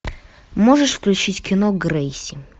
можешь включить кино грейси